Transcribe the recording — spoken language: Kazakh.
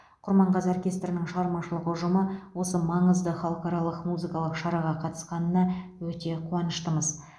құрманғазы оркестрінің шығармашылық ұжымы осы маңызды халықаралық музыкалық шараға қатысқанына өте қуаныштымыз